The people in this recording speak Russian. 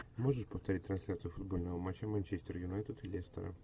можешь повторить трансляцию футбольного матча манчестер юнайтед и лестера